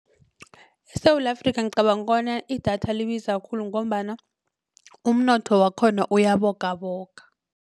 ESewula Afrika ngicabanga bona idatha libiza khulu ngombana umnotho wakhona uyabogaboga.